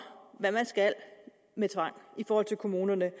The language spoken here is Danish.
hvad man skal med tvang i forhold til kommunerne